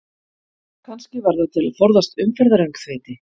Kannski var það til að forðast umferðaröngþveiti?